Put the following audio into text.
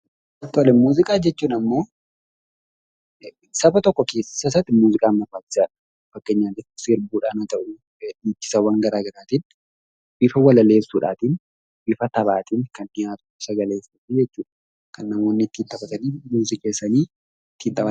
Muuziqaa jechuun immoo saba tokko keessa isaatti muuziqaan barbaachisaadha. Bifa walaleessuutiin, bifa sagaleetiin kan namoonni qindeessanii ittiin taphatan jechuudha.